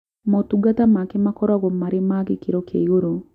Motungata make makoragwo marĩ ma gĩkĩro kĩa igũrũ